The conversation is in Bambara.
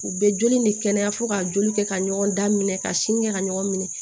U bɛ joli in de kɛnɛya fo ka joli kɛ ka ɲɔgɔn da minɛ ka sini kɛ ka ɲɔgɔn minɛ